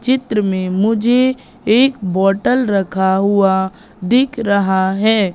चित्र में मुझे एक बॉटल रखा हुआ दिख रहा है।